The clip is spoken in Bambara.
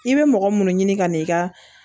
I bɛ mɔgɔ minnu ɲini ka n'i ka